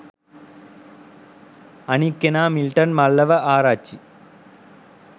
අනික් කෙනා මිල්ටන් මල්ලව ආරච්චි.